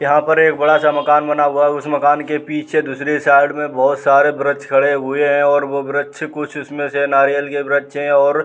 यहाँ पर एक बड़ा सा मकान बना हुआ है। उस मकान के पीछे दूसरे साइड में बहोत सारे वृक्ष खड़े हुये हैं और वो वृक्ष कुछ उसमें से नारियल के वृक्ष हैं और --